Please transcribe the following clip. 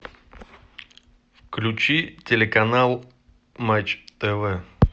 включи телеканал матч тв